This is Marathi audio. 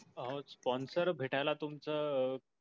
अहो sponsor भेटायला तुमच. अं